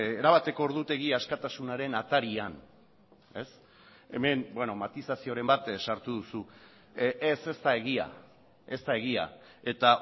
erabateko ordutegi askatasunaren atarian hemen beno matizazioren bat sartu duzu ez ez da egia ez da egia eta